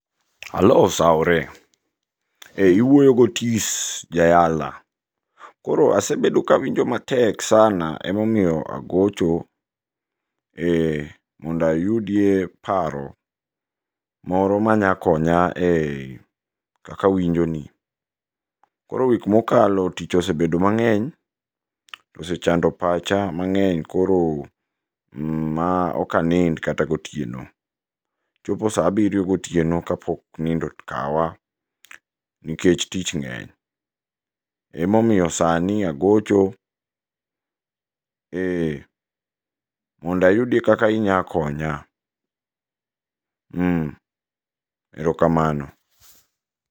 Aloo osaore iwuoyo gotis jayala. Koro asebedo kawinjo matek sana emomiyo agocho e monda yudie paro moro manya konya e kaka awinji ni . Koro wik mokalo tich osebedo mang'eny osechando pacha mangeny koro ma ok anind kata gotieno. Chopo saa abiryo gotieno kapok nindo okawa nikech tich ng'eny. Emomiyo sani agocho monda yudi kaka inya konya erokamano.